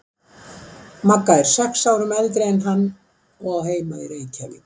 Magga er sex árum eldri en hann og á heima í Reykjavík.